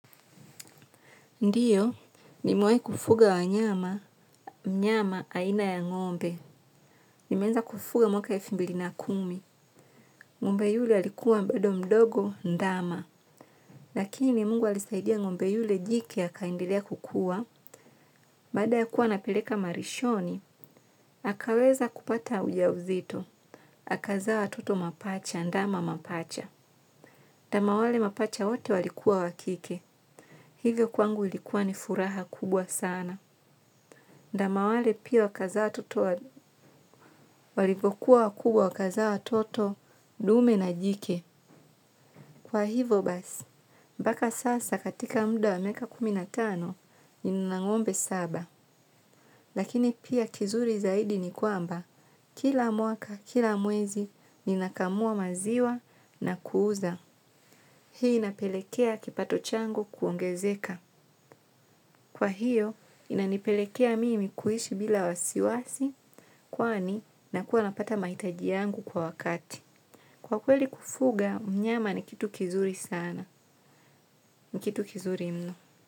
Ndiyo, nimewai kufuga wanyama, nyama aina ya ngombe. Nimeanza kufuga mwaka elfu mbili na kumi. Ngombe yule, alikuwa mbado mdogo, ndama. Lakini, Mungu alisaidia ngombe yule jike, akaendelea kukua. Baada ya kuwa napereka marishoni, akaweza kupata uja uzito. Akazaa watoto mapacha, ndama mapacha. Ndama wale mapacha wote, walikuwa wakike. Hivyo kwangu ilikuwa ni furaha kubwa sana. Ndama wale pia, wakazaa toto, walivokua wakubwa wakazaa watoto, dume na jike. Kwa hivo basi, mbaka sasa, katika muda wa miaka kumi na tano, nina ngombe saba. Lakini pia, kizuri zaidi ni kwamba, kila mwaka, kila mwezi, nina kamua maziwa na kuuza. Hii inapelekea kipato changu kuongezeka. Kwa hiyo, inanipelekea mimi, kuishi bila wasiwasi, kwani, nakuwa napata mahitaji yangu kwa wakati. Kwa kweli kufuga, mnyama ni kitu kizuri sana, ni kitu kizuri mno.